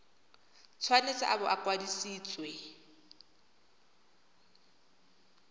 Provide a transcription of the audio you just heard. tshwanetse a bo a kwadisitswe